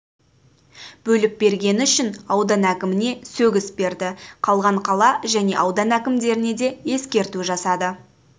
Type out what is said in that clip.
бөліп бергені үшін аудан әкіміне сөгіс берді қалған қала және аудан әкімдеріне де ескерту жасады